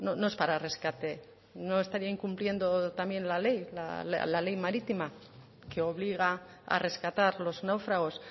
no es para rescate no estaría incumpliendo también la ley la ley marítima que obliga a rescatar los náufragos